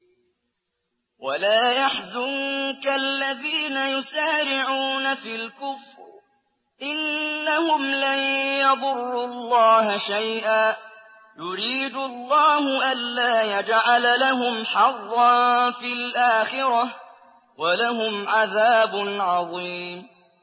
وَلَا يَحْزُنكَ الَّذِينَ يُسَارِعُونَ فِي الْكُفْرِ ۚ إِنَّهُمْ لَن يَضُرُّوا اللَّهَ شَيْئًا ۗ يُرِيدُ اللَّهُ أَلَّا يَجْعَلَ لَهُمْ حَظًّا فِي الْآخِرَةِ ۖ وَلَهُمْ عَذَابٌ عَظِيمٌ